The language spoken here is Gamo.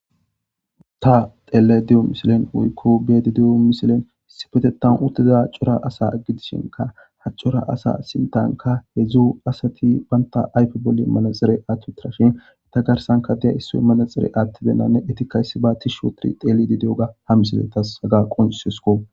Ta teele de7o misilen hoykko bedi de7o misilen sipetetan uttiza a cora asa aggidishinka ha cora asa sintanka he dzdzu asati baynta aype bolle manaxere atutirashin ita garsanka diya issoy manaxire attibenanne etikayssi ba ti shootiri teelidi de7oga ha misiletas haga qonsosko